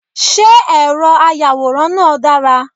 Ṣé ẹ̀rọ ayàwòrán náà dára.?